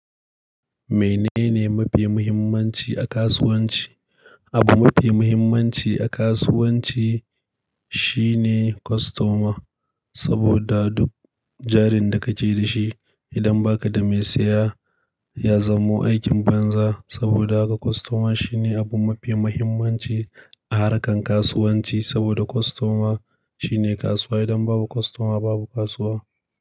Menene mafi muhimmanci a kasuwanci? Abu mafi muhimmanci a kasuwanci shine kostoma, saboda duk jarin da ka je da shi idan ba ka da mai saya ya zamo aikin banza. Saboda haka kostoma shine abu mafi muhimmanci a harkar kasuwanci. Saboda kostoma shine kasuwa, idan babu kostoma babu kasuwa.